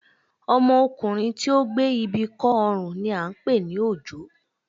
Ọmọkùnrin tí ó gbé ibi kọ́ ọrùn ni à ń pè ní òjó